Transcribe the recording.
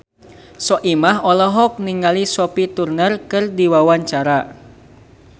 Soimah olohok ningali Sophie Turner keur diwawancara